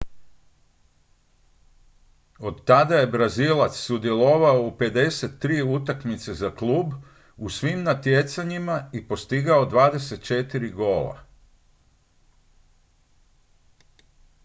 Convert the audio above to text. od tada je brazilac sudjelovao u 53 utakmice za klub u svim natjecanjima i postigao 24 gola